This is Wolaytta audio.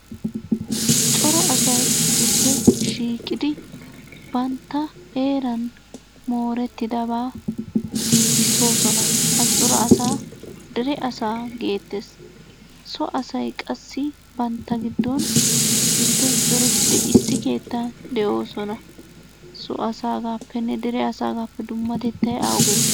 Cora asay issippe shiiqidi bantta heeran moorettidabaa giigissoosona. Cora asaa dere asaa geettes. So asay qassi bantta giddon issippe zorettidi issi keettan de'oosona. So asaagaappenne dere asaagaappe dummatettay awuge?